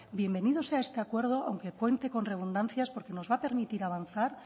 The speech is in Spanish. bienvenido sea este acuerdo aunque cuente con redundancias porque nos va a permitir avanzar